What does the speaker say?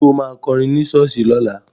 Ṣo ma kọrin ní ṣọ́ọ̀ṣì lọ́la?